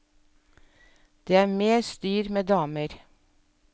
Det er mer styr med damer.